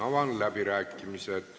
Avan läbirääkimised.